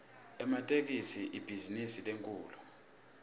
ematekisi ibhizinisi lenkhulu